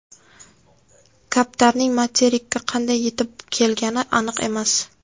Kaptarning materikka qanday yetib kelgani aniq emas.